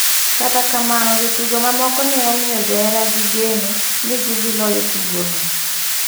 Kata kamano jotugo mamoko ne omiyo johera gi geno ni gi dhi loyo tugo no.